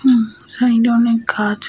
উম side -এ অনেক গাছ।